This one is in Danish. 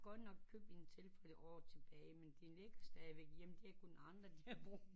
De har godt nok købt en tilfælde org tilbage men de længste de har vel kun andre til at bruge